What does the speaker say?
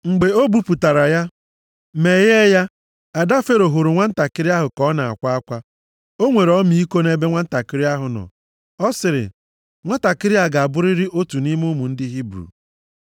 Mgbe o bupụtara ya, meghee ya, ada Fero hụrụ nwantakịrị ahụ ka ọ na-akwa akwa. O nwere ọmịiko nʼebe nwantakịrị ahụ nọ. Ọ sịrị, “Nwatakịrị a ga-abụrịrị otu nʼime ụmụ ndị Hibru.”